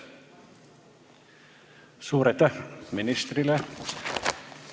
Suur aitäh ministrile!